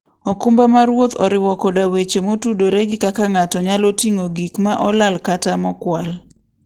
okumba mar wuoth oriwo koda weche motudore gi kaka ng'ato nyalo ting'o gik ma olal kata mokwal.